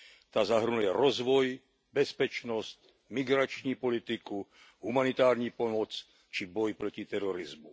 Ta zahrnuje rozvoj, bezpečnost, migrační politiku, humanitární pomoc či boj proti terorismu.